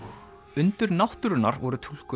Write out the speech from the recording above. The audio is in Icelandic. undur náttúrunnar voru túlkuð